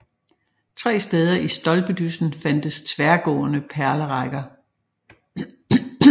Tre steder i stolpedyssen fandtes tværgående pælerækker